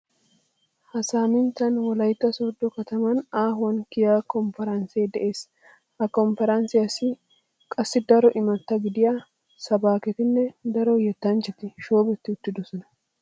Ha saaminttan wolaytta sooddo kataman aahuwan kiyiya kompparanssee de'ees. Ha kompparanssiyassi qassi daro imatta gidiya sabaaketinne daro yettanchchati shoobetti uttidosona.